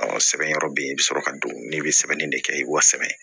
sɛbɛn yɔrɔ bɛ ye i bɛ sɔrɔ ka don n'i bɛ sɛbɛnni de kɛ i b'o sɛbɛn